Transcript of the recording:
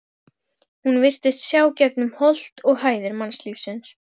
Hún virtist sjá gegnum holt og hæðir mannlífsins.